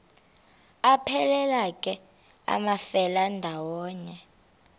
aphelela ke amafelandawonye